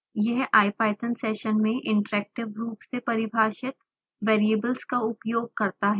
यह ipython session में interactive रूप से परिभाषित variables का उपयोग करता है